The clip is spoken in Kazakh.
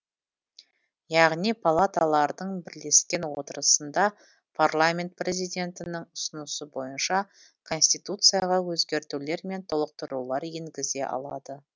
яғни палаталардың бірлескен отырысында парламент президентінің ұсынысы бойынша конституцияға өзгертулер мен толықтырулар енгізе алады